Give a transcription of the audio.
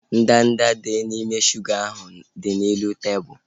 Ndanda dị n'ime shuga ahu dị n'elu tebụlu